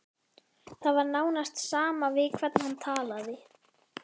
Það var nánast sama við hvern hann talaði.